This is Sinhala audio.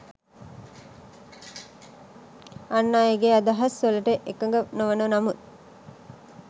අන් අයගේ අදහස් වලට එකඟ නොවන නමුත්